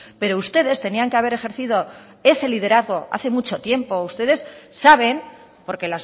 pero ustedes tenían que haber ejercido ese liderazgo hace mucho tiempo ustedes saben porque